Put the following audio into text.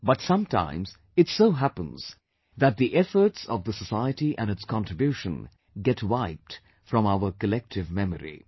But sometimes it so happens, that the efforts of the society and its contribution, get wiped from our collective memory